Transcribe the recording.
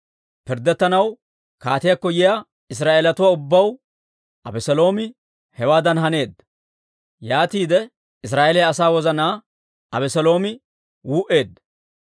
Pirddettanaw kaatiyaakko yiyaa Israa'eeletuwaa ubbaw Abeseeloomi hewaadan haneedda; yaatiide Israa'eeliyaa asaa wozanaa Abeseeloomi wuu'eedda.